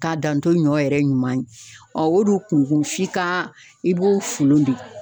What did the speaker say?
Ka dan to ɲɔ yɛrɛ ɲuman ye, ɔn o de kunkun f'i ka i b'o folon de.